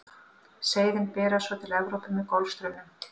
seiðin berast svo til evrópu með golfstraumnum